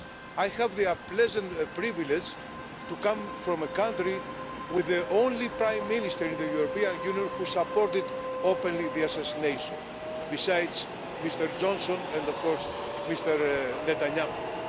I have the pleasant privilege to come from a country with the only prime minister in the European Union who supported openly the assassination, besides Mr Johnson and of course Mr Netanyahu.